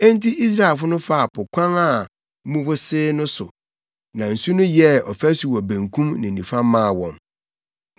Enti Israelfo no faa po kwan a mu wosee no so. Na nsu no yɛɛ afasu wɔ benkum ne nifa maa wɔn.